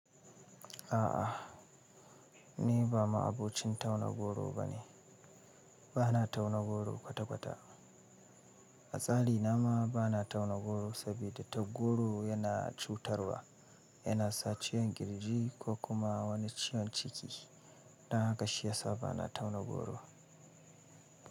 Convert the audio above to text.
A'a, ni ba ma'abocin tauna goro bane. Ba na tauna goro kwata-kwata. A tsari na ma ba na tauna goro saboda ta goro yana cutarwa, yana sa ciwon kirji ko kuma wani ciwon ciki. Dan haka shi yasa ba na tauna goro.